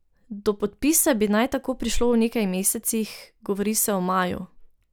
Do podpisa bi naj tako prišlo v nekaj mesecih, govori se o maju.